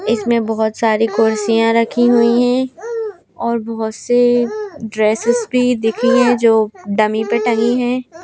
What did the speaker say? इसमें बहुत सारी कुर्सियां रखी हुई हैं और बहुत से ड्रेसेस भी दिख जो डमी पर टंगी हैं।